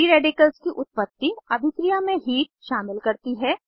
free radicals की उत्पत्ति अभिक्रिया में हीट शामिल करती है